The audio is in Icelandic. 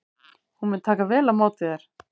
Hún mun taka vel á móti þér.